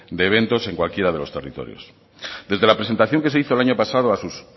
de eventos en cualquiera de los territorios desde la presentación que se hizo el año pasado a sus